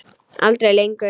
Aldrei lengur.